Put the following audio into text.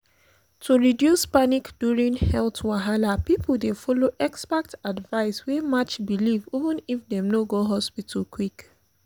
to reduce panic during health wahala people dey follow expert advice wey match belief even if dem no go hospital quick.